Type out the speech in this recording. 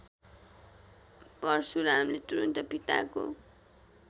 परशुरामले तुरन्त पिताको